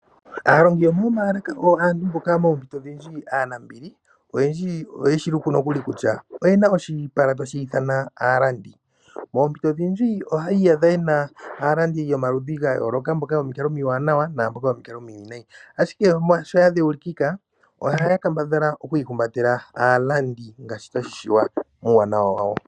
Aalongi yomoomaalaka oyo aantu mboka moompito odhindji oyo aanambili. Oyendji oyeshi luku nokuli kutya oye na oshipala tashi ithana aalandi. Moompito odhindji ohayi iyadha ye na aalandi yomaludhi gayooloka, mboka yomikalo omiwanawa naa mboka yomikalo omiwinayi. Ashike molwashoka oya dheulikika, ohaya kambadhala oku ihumbatela aalandi ngaashi tashi vulika muuwanawa wawo.